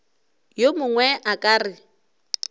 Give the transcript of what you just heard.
yo mongwe a ka re